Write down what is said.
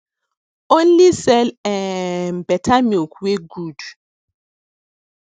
only sell um better milk wey good